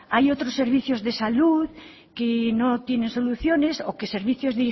hay otros servicios de salud que no tienen soluciones o que servicios